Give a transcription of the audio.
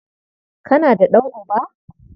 Kana da ɗan'uba?